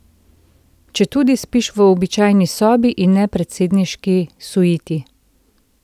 Četudi spiš v običajni sobi, in ne predsedniški suiti.